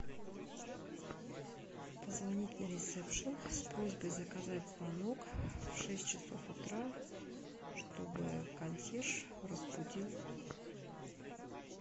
позвонить на ресепшен с просьбой заказать звонок в шесть часов утра чтобы консьерж разбудил